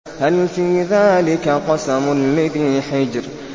هَلْ فِي ذَٰلِكَ قَسَمٌ لِّذِي حِجْرٍ